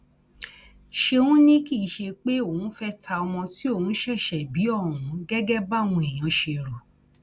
ṣéun ni kì í ṣe pé òun fẹẹ ta ọmọ tí òun ṣẹṣẹ bí ohun gẹgẹ báwọn èèyàn ṣe rò